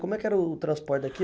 Como é que era o o transporte daqui?